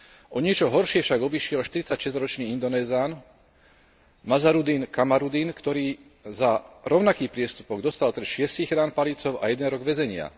O niečo horšie však obišiel štyridsaťšesťročný Indonézan Nazarudín Kamaruddín, ktorý za rovnaký priestupok dostal trest šiestich rán palicou a jeden rok väzenia.